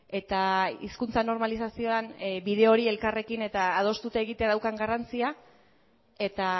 eta hizkuntza normalizazioan bide hori elkarrekin eta adostuta egitea daukan garrantzia eta